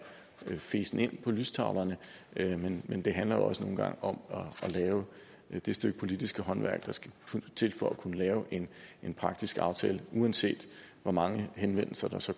feset ind på lystavlen men det handler jo også nogle gange om at lave det stykke politisk håndværk der skal til for at kunne lave en praktisk aftale uanset hvor mange henvendelser der så